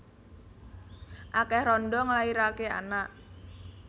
Akeh randha nglairake anak